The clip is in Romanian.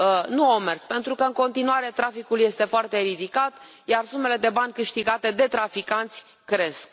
Nu au mers, pentru că în continuare traficul este foarte ridicat, iar sumele de bani câștigate de traficanți cresc.